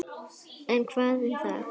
En hvað um það?